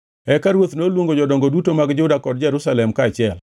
Eka ruoth noluongo jodongo duto mag Juda kod Jerusalem kaachiel.